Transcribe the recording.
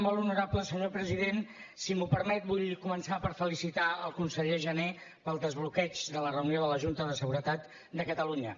molt honorable senyor president si m’ho permet vull començar per felicitar el conseller jané pel desbloqueig de la reunió de la junta de seguretat de catalunya